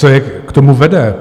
Co je k tomu vede?